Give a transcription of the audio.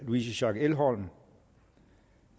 louise schack elholm